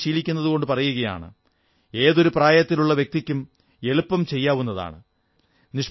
ഞാനതു ശീലിക്കുന്നതുകൊണ്ടു പറയുകയാണ് ഏതൊരു പ്രായത്തിലുള്ള വ്യക്തിക്കും എളുപ്പം ചെയ്യാവുന്നതാണ്